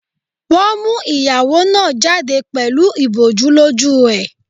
Wọ́n mú ìyàwó náà jáde pẹ̀lú ìbòjú lójú ẹ̀.